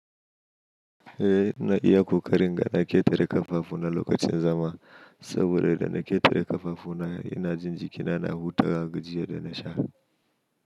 Eh, na iya ƙoƙarin ga na ƙetare ƙafafu na lokacin zama, saboda idan na ƙetare ƙafafu na ina jin jikina na hutawa jiya da na sha.